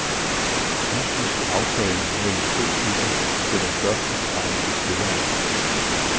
Mystisk aftaler mellem to klubber sætter spørgsmålstegn ved spilleren.